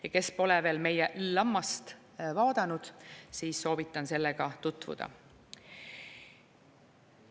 Ja kui te pole veel meie LLama-st vaadanud, siis soovitan sellega tutvuda.